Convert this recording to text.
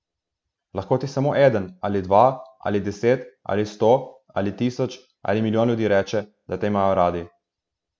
Lahko ti samo eden, ali dva, ali deset, ali sto, ali tisoč, ali milijon ljudi reče, da te imajo radi.